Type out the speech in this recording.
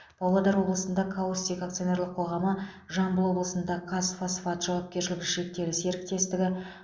павлодар облысында каустик акционерлік қоғамы жамбыл облысында қазфосфат жауапкершілігі шектеулі серіктестігі